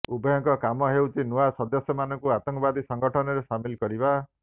ଉଭୟଙ୍କ କାମ ହେଉଛି ନୂଆ ସଦସ୍ୟମାନଙ୍କୁ ଆତଙ୍କବାଦୀ ସଂଗଠନରେ ସାମିଲ କରିବା